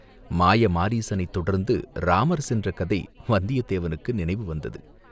மாய மாரீசனைத் தொடர்ந்து இராமர் சென்ற கதை வந்தியத்தேவனுக்கு நினைவு வந்தது.